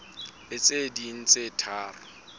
le tse ding tse tharo